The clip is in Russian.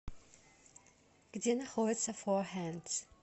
где находится фохэндс